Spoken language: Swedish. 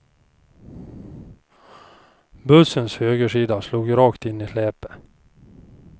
Bussens högersida slog rakt in i släpet.